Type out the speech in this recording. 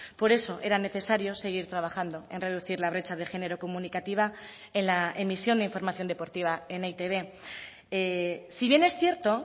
por eso era necesario seguir trabajando en reducir la brecha de género comunicativa en la emisión de información deportiva en eitb si bien es cierto